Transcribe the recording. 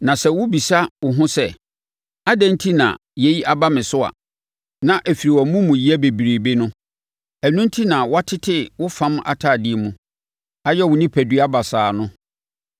Na sɛ wobɛbisa wo ho sɛ, “Adɛn enti na yei aba me so” a na ɛfiri wʼamumuyɛ bebrebe no. Ɛno enti na wɔatete wo fam atadeɛ mu ayɛ wo onipadua basaa no.